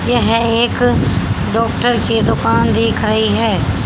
यह एक डॉक्टर की दुकान दिख रही है।